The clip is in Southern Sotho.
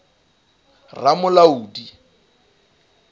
ramolodi